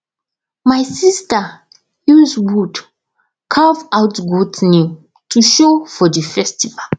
my sister use wood carve out goat name to show for the festival